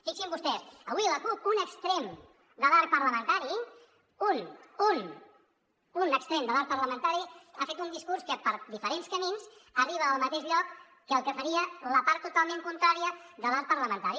fixin se vostès avui la cup un extrem de l’arc parlamentari un extrem de l’arc parlamentari ha fet un discurs que per diferents camins arriba al mateix lloc que el que faria la part totalment contrària de l’arc parlamentari